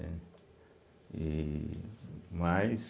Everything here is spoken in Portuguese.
Né. E Mas